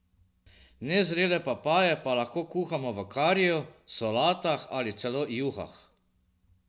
Nezrele papaje pa lahko kuhamo v kariju, solatah ali celo juhah.